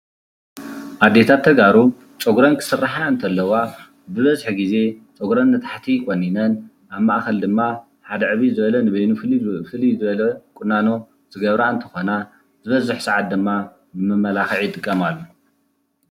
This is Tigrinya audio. ኣዴታት ተጋሩ ፀጉረን ኽስራሓ እንተለዋ ብበዚሒ ግዜ ፀጉረን ንታሕቲ ቆኒነን ኣብ ማእኸል ድማ ሓደ ዕብይ ዝበለ ንበይኑ ፍልይ ዝበለ ቁናኖ ዝገብራ እንትኾና ዝበዝሕ ስዓት ድማ ንመመላኽዒ ይጥቀማሉ።